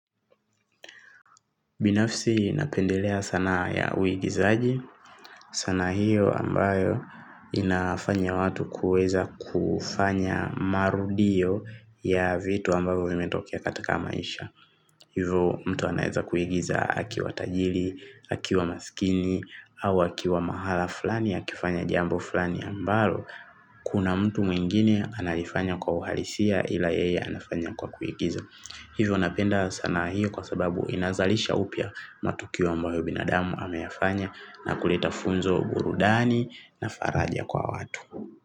Binafsi napendelea sanaa ya uigizaji, sanaa hiyo ambayo inafanya watu kuweza kufanya marudio ya vitu ambavyo vimetokea katika maisha. Hivyo mtu anaweza kuigiza akiwa tajiri, akiwa maskini, au akiwa mahala fulani akifanya jambo fulani ambalo kuna mtu mwingine analifanya kwa uhalisia ila yeye anafanya kwa kuigiza. Hivyo napenda sana hiyo kwa sababu inazalisha upya matukio ambayo binadamu ameyafanya na kuleta funzo, burudani na faraja kwa watu.